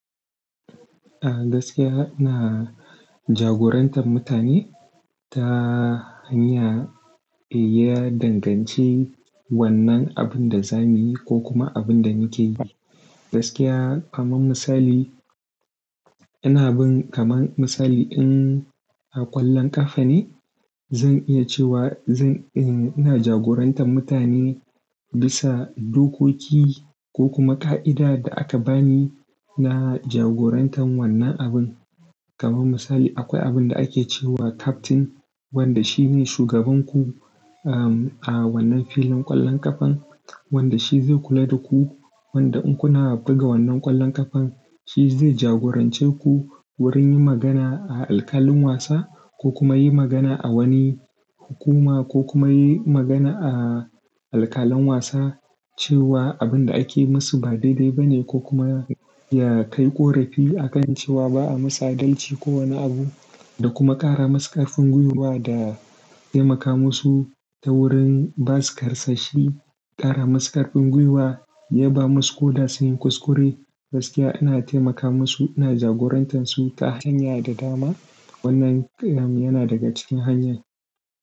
Gaskiya ina jagorantar mutane, ta hanya iya danganci wannan abin da za mu yi, ko kuma abin da muke yi. Gaskiya, kaman misali, ina bin kaman misali in a ƙwallon ƙafa ne, zan iya cewa zan, eh, ina jagorantar mutane bisa dokoki ko kuma ƙa'ida da aka bani na jagorantan wannan abin. Kaman misali, akwai abin da ake cewa captain, wanda shi ne shugaban ku, um, a wannan filin ƙwallon ƙafan, wanda shi zai kula da ku, wanda in kuna buga wannan ƙwallon ƙafan, shi zai jagorance ku, wurin yin magana, a alkalin wasa, ko kuma yi magana a wani hukuma, ko kuma yi magana a alkalen wasa, cewa abin da ake musu ba daidai ba ne, ko kuma ya kai ƙorafi a kan cewa ba a masa dalci ko wani abu, da kuma ƙara masu ƙarfin gwiwa da, taimaka musu ta wurin ba su karsashi, ƙara musu ƙarfin gwiwa, yaba musu koda su yi kuskure, gaskiya ina taimaka musu, ina jagorantar su ta hanya da dama, wannan kyam, yana daga cikin hanyar.